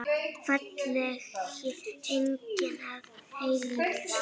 Fallegi engill að eilífu.